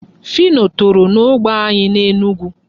Phyno toro n'ógbè anyị n'Enugu.